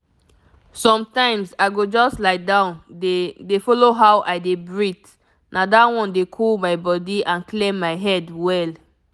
sometimes i go just lie down dey dey follow how i dey breathe na that one dey cool my body and clear my head well.